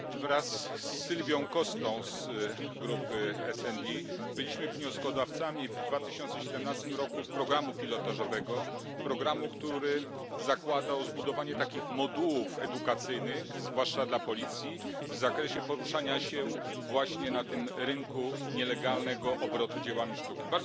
Panie Przewodniczący! Wraz z Silvią Costą z grupy SD byliśmy wnioskodawcami w 2017 r. programu pilotażowego, który zakładał zbudowanie takich modułów edukacyjnych, zwłaszcza dla policji, w zakresie poruszania się właśnie na tym rynku nielegalnego obrotu dziełami sztuki.